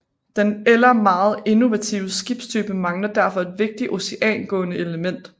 Den eller meget innovative skibstype mangler derfor et vigtigt oceangående element